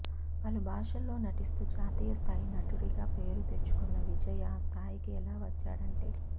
పలు భాషల్లో నటిస్తూ జాతీయ స్థాయి నటుడిగా పేరు తెచ్చుకున్న విజయ్ ఆ స్థాయికి ఎలా వచ్చాడంటే